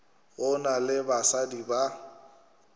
go na le basadi ba